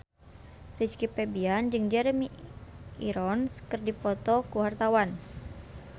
Rizky Febian jeung Jeremy Irons keur dipoto ku wartawan